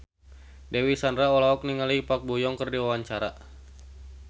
Dewi Sandra olohok ningali Park Bo Yung keur diwawancara